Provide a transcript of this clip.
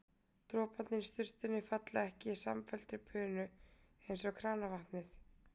Droparnir í sturtunni falla ekki í samfelldri bunu eins og kranavatnið.